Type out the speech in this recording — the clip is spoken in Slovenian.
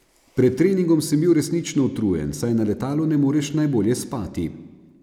Pred treningom sem bil resnično utrujen, saj na letalu ne moreš najbolje spati.